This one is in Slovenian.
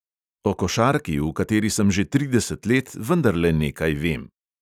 O košarki, v kateri sem že trideset let, vendarle nekaj vem.